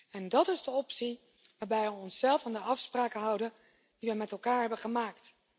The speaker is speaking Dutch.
En dat is de optie waarbij we onszelf aan de afspraken houden die we met elkaar hebben gemaakt.